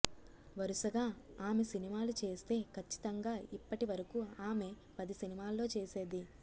వరుసగా ఆమె సినిమాలు చేస్తే ఖచ్చితంగా ఇప్పటి వరకు ఆమె పది సినిమాల్లో చేసేది